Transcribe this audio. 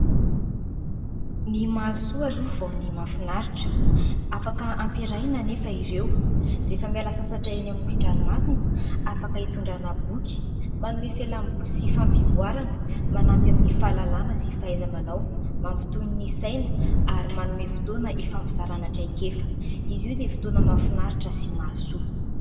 Ny mahasoa aloha vao ny mahafinaritra. Afaka hampiarahana anefa ireo, rehefa miala sasatra eny amoron-dranomasina. Afaka hitondràna boky manome fialamboly sy fampivoarana, manampy amin'ny fahalalàna sy fahaiza-manao. Mampitony ny saina ary manome fotoana hifampizàrana traikefa. Izy io dia fotoana mahafinaritra sy mahasoa.